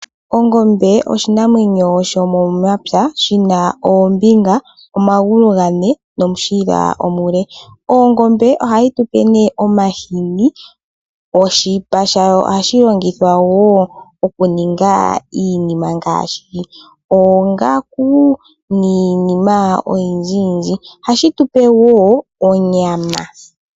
Ongombe ishinamwenyo shomomapya shina oombiga omahulu gane nomushila omule. Oongombe oha yi tu pe ne omahini, oshipa shayo oha shi longithwa woo oku ninga iinima ngaashi oongaku niinima oyindjiyindji. Oha shi tupe wo onyama.